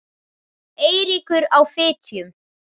Eiríkur á Fitjum.